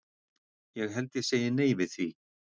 Ég held ég segi nei við því.